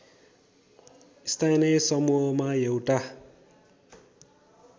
स्थानीय समूहमा एउटा